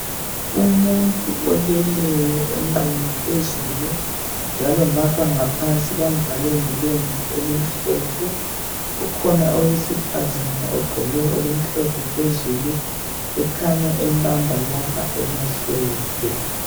Umuntu oleleyo onqunu phezulu njalo ngapha ngaphansi bamvale ngelembu elimhlophe. Ukhona owesifazana ogqoke okumhlophe phezulu ekhanya embamba lapha emahlombe.